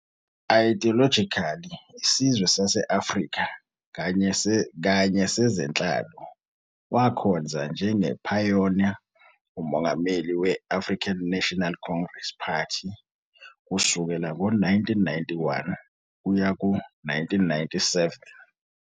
Ideologically isizwe sase-Afrika kanye sezenhlalo, wakhonza njengephayona uMongameli we -African National Congress, ANC, party kusukela ngo-1991 kuya ku-1997.